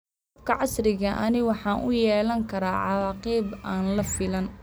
Waraabka casriga ahi waxa uu yeelan karaa cawaaqib aan la filayn.